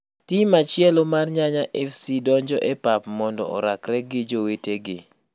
Tim machielo mar Nyanya Fc donjo e pap mando orakre gi jowetegi